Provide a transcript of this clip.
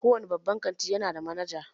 Kowane babban kantin ya nada manaja.